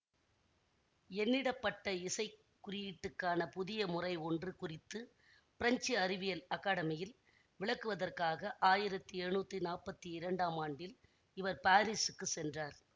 எண்ணிடப்பட்ட இசை குறியீட்டுக்கான புதிய முறை ஒன்று குறித்து பிரெஞ்சு அறிவியல் அக்கடமியில் விளக்குவதற்காக ஆயிரத்தி எழுநூத்தி நாப்பத்தி இரண்டாம் ஆண்டில் இவர் பாரிசுக்குச் சென்றார்